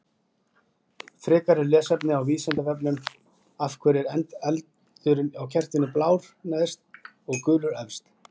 Frekara lesefni á Vísindavefnum: Af hverju er eldurinn á kertinu blár neðst og gulur efst?